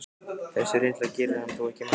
Þessi reynsla gerir hann þó ekki mælskan.